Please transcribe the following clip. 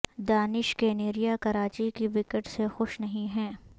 دانش کنیریا کراچی کی وکٹ سے خوش نہیں ہیں